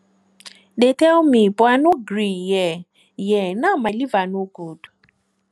dey tell me but i no gree hear hear now my liver no good